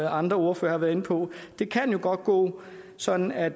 andre ordførere har været inde på det kan jo godt gå sådan at